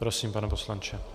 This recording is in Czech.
Prosím, pane poslanče.